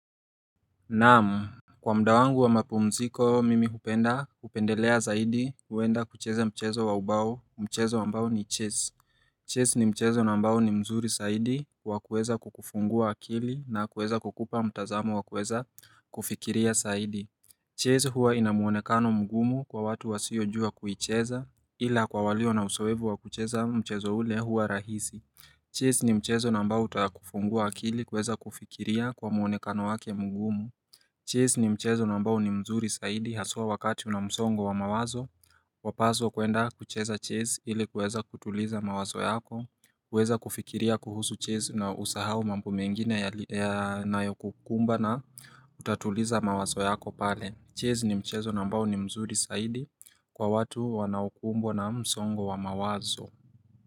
Nam Kwa mda wangu wa mapumziko mimi hupenda upendelea zaidi kuenda kucheza mchezo waubao mchezo wambao ni Chess Chase ni mchezo na mbao ni mzuri Zaidi wakueza kukufungua akili na kueza kukupa mtazamu wakueza kufikiria Zaidi Chase huwa inavmuonekano mgumu kwa watu wasiyojua kuicheza ila kwa walio na uzeovu wa kucheza mchezo ule huwa rahisi Chase ni mchezo na ambao utakufungua akili kueza kufikiria kwa muonekano wake mgumu Chase ni mchezo ambao ni mzuri saidi haswa wakati una msongo wa mawazo Wapaswa kuenda kucheza Chase ili kuweza kutuliza mawazo yako kuweza kufikiria kuhusu Chase na usahau mambo mengine ya nayo kukumba na Kutatuliza mawazo yako pale Chase ni mchezo ambao ni mzuri zaidi kwa watu wanaukumbwa na msongo wa mawazo.